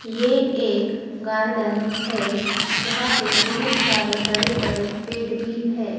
ये एक गार्डन है जहां पे बहुत सारे बड़े बड़े पेड़ भी है।